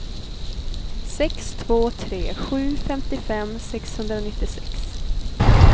sex två tre sju femtiofem sexhundranittiosex